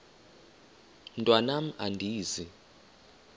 mntwan am andizi